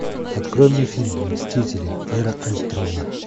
открой мне фильм мстители эра альтрона